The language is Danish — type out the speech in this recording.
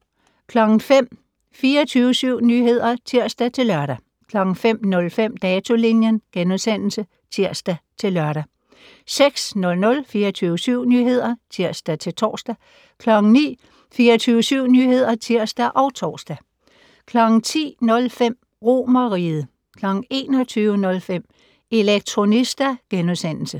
05:00: 24syv Nyheder (tir-lør) 05:05: Datolinjen *(tir-lør) 06:00: 24syv Nyheder (tir-tor) 09:00: 24syv Nyheder (tir og tor) 10:05: RomerRiget 21:05: Elektronista *